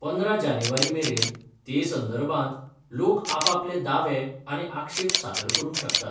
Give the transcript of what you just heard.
पंदरा जानेवारी मेरेन ते संदर्भात, लोक आपापले दावे आनी आक्षेप सादर करूंक शकतात.